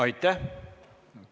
Aitäh!